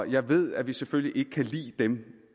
jeg ved at vi selvfølgelig ikke kan lide dem